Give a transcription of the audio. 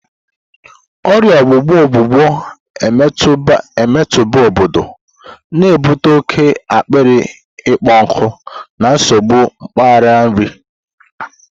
Ọrịa ọgbụgbọ ọgbụgbọ emetụtabu obodo, na-ebute oke akpịrị ịkpọ nkụ na nsogbu mgbari nri.